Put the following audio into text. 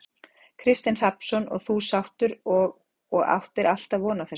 Kristinn Hrafnsson: Og þú sáttur og, og áttir alltaf von á þessu?